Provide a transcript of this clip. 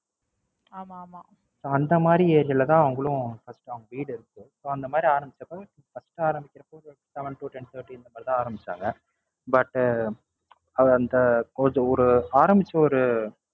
அந்த மாதிரி Age ல தான் அவுங்களும் First உ அவுங்க வீடு இருக்கு So அந்த மாதிரி ஆரம்பிச்சப்ப First ஆரம்பிக்குறப்ப Seven to ten thirty அந்த மாதிரி தான் ஆரம்பிச்சாங்க. But அது அந்த கொஞ்ச ஒரு ஆரம்பிச்ச ஒரு